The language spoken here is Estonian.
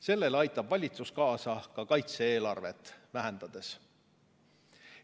Sellele aitab valitsus kaasa ka kaitse-eelarvet vähendades.